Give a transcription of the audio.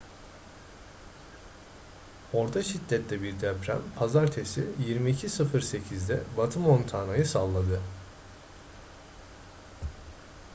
orta şiddette bir deprem pazartesi 22:08'de batı montana'yı salladı